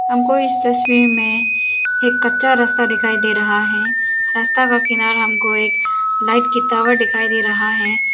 हमको इस तस्वीर में एक कच्चा रास्ता दिखाई दे रहा है रास्ता का किनारा हमको एक लाइट की टॉवर दिखाई दे रहा है।